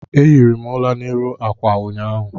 Ehiri m ụla n'elu ákwà ụnyaahụ